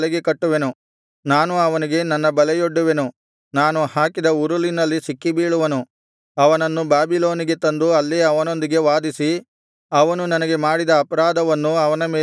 ನಾನು ಅವನಿಗೆ ನನ್ನ ಬಲೆಯೊಡ್ಡುವೆನು ನಾನು ಹಾಕಿದ ಉರುಲಿನಲ್ಲಿ ಸಿಕ್ಕಿಬೀಳುವನು ಅವನನ್ನು ಬಾಬಿಲೋನಿಗೆ ತಂದು ಅಲ್ಲೇ ಅವನೊಂದಿಗೆ ವಾದಿಸಿ ಅವನು ನನಗೆ ಮಾಡಿದ ಅಪರಾಧವನ್ನು ಅವನ ಮೇಲೆ ಹೊರಿಸುವೆನು